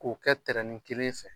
K'o kɛ kelen fɛ.